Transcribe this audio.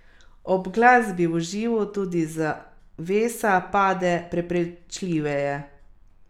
Ob glasbi v živo tudi zavesa pade prepričljiveje.